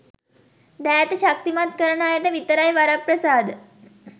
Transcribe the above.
දෑත ශක්තිමත් කරන අයට විතරයි වරප්‍රසාද